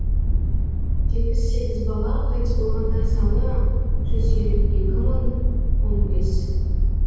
жетпіс сегіз бала қайтыс болғандар саны жүз елу екі мың он бес